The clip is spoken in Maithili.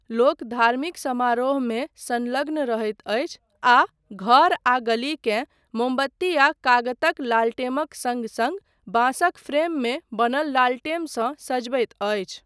लोक धार्मिक समारोहमे संलग्न रहैत अछि आ घर आ गली केँ मोमबत्ती आ कागतक लालटेमक सङ्ग सङ्ग बाँसक फ्रेममे बनल लालटेमसँ सजबैत अछि।